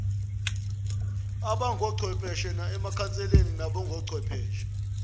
abangochwepheshe emakhanseleni nakochwepheshe